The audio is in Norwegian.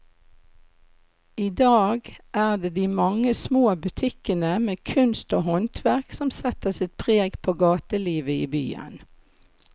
I dag er det de mange små butikkene med kunst og håndverk som setter sitt preg på gatelivet i byen.